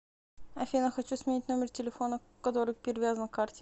афина хочу сменить номер телефона который перевязан к карте